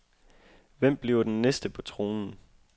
Hvem bliver den næste på tronen?